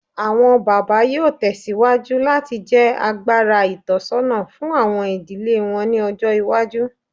Awọn baba yoo tẹsiwaju lati jẹ agbara itọsọna fun awọn idile wọn ni ọjọ iwaju